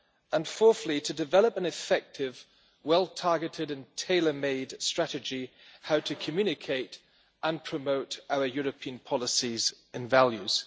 And, fourthly, to develop an effective, well targeted and tailor made strategy on how to communicate and promote our European policies and values.